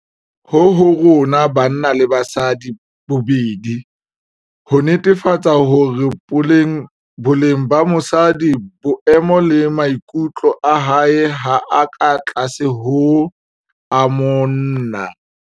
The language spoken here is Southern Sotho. Ho ho rona banna le basadi bobedi, ho netefatsa hore boleng ba mosadi, boemo le maikutlo a hae ha a ka tlase ho a monna.